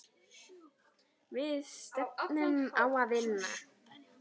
Við stefnum á að vinna.